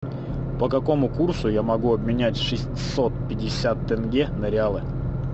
по какому курсу я могу обменять шестьсот пятьдесят тенге на реалы